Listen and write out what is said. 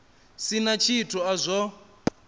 si na tshithu a zwo